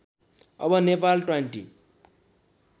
अब नेपाल ट्वान्टी